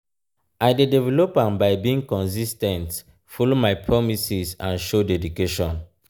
i dey develop am by being consis ten t follow my promises and show dedication.